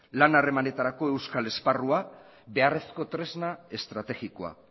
lan harremanetarako euskal esparrua beharrezko tresna estrategikoa